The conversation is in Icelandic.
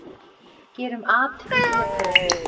Gerum at í Grétari!